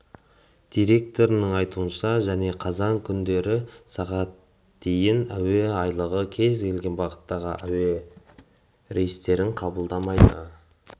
директорының айтуынша және қазан күндері сағат дейін әуе айлағы кез келген бағыттағы әуе рейстерін қабылдамайды